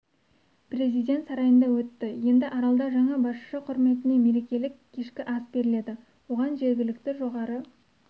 президент сарайында өтті енді аралда жаңа басшы құрметіне мерекелік кешкі ас беріледі оған жергілікті жоғары